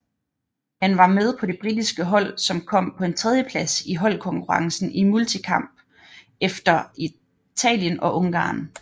Han var med på det britiske hold som kom på en tredjeplads i holdkonkurrencen i multikamp efter Italien og Ungarn